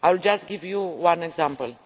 I will just give you one example.